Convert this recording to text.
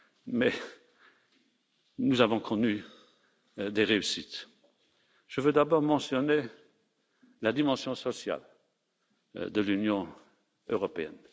Mais nous avons connu des réussites. Je veux d'abord mentionner la dimension sociale de l'Union européenne.